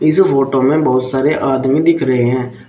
इस फोटो में बहुत सारे आदमी दिख रहे हैं।